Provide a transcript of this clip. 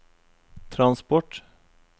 transport